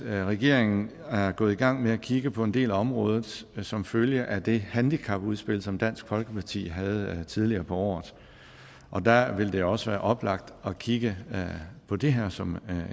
at regeringen er gået i gang med at kigge på en del af området som følge af det handicapudspil som dansk folkeparti havde tidligere på året og der vil det også være oplagt at kigge på det her som